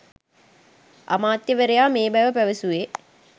අමාත්‍යවරයා මේ බව පැවැසුවේ